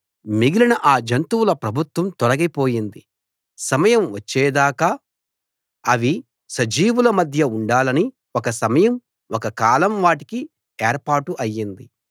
మిగిలిన ఆ జంతువుల ప్రభుత్వం తొలగిపోయింది సమయం వచ్చే దాకా అవి సజీవుల మధ్య ఉండాలని ఒక సమయం ఒక కాలం వాటికి ఏర్పాటు అయింది